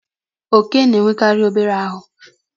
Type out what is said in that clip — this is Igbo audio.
oke na enekari obere aru